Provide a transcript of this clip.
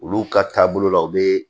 Olu ka taabolo la u bɛ